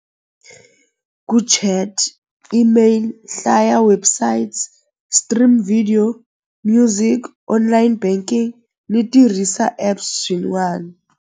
email hlaya website stream video music online banking ni tirhisa app swin'wani.